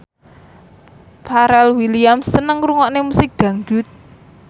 Pharrell Williams seneng ngrungokne musik dangdut